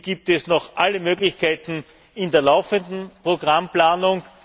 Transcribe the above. Hier gibt es noch alle Möglichkeiten in der laufenden Programmplanung.